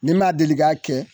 Ni ma deli ka kɛ